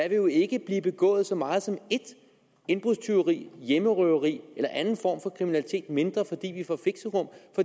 jo ikke blive begået så meget som ét indbrudstyveri hjemmerøveri eller anden form for kriminalitet mindre fordi vi får fixerum